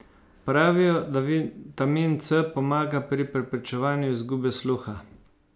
Pravijo, da vitamin C pomaga pri preprečevanju izgube sluha.